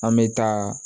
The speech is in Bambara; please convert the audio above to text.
An bɛ taa